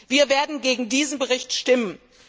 Wir werden gegen diesen Bericht stimmen.